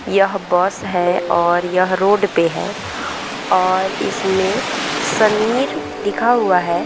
यह बस है और यह रोड पे है और इसमें समीर लिखा हुआ है ।